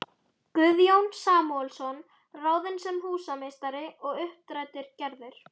Guðjón Samúelsson ráðinn sem húsameistari og uppdrættir gerðir